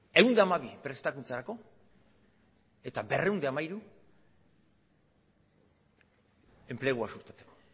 ehun eta hamabi prestakuntzarako eta berrehun eta hamairu enplegua sustatzeko